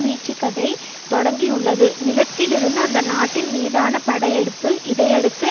வீச்சுக்கதை தொடங்கியுள்ளது நிலத்திலிருந்து அந்த நாட்டின் மீதான படையெடுப்பு இதையடுத்து